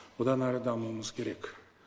одан әрі дамуымыз керек